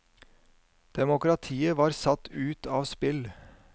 Demokratiet var satt ut av spill.